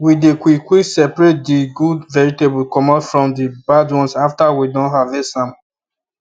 we dey quick quick separate the good vegetable comot from the bad ones after we don harvest am